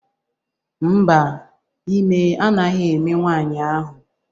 Mba, ime anaghị eme nwanyi ahu